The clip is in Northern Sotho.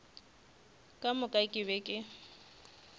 ka moka ke be ke